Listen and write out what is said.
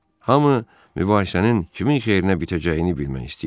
Hamı mübahisənin kimin xeyrinə bitəcəyini bilmək istəyirdi.